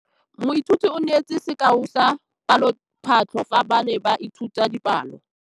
Moithuti o neetse sekaô sa palophatlo fa ba ne ba ithuta dipalo.